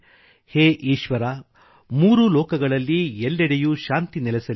ಹೇ ಈಶ್ವರ ಮೂರೂ ಲೋಕಗಳಲ್ಲಿ ಎಲ್ಲೆಡೆಯೂ ಶಾಂತಿ ನೆಲೆಸಲಿ